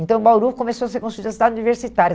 Então, o Bauru começou a ser construída a cidade universitária.